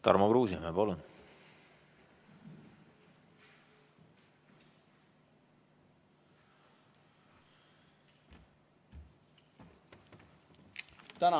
Tarmo Kruusimäe, palun!